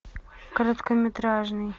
короткометражный